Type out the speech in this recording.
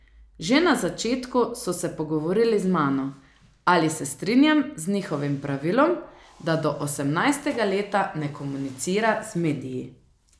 Že na začetku so se pogovorili z mano, ali se strinjam z njihovim pravilom, da do osemnajstega leta ne komunicira z mediji.